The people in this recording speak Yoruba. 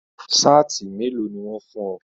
Saati mélòó ní wọn fún ọ?